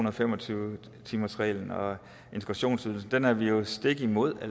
og fem og tyve timersreglen og integrationsydelsen dem er vi jo stik imod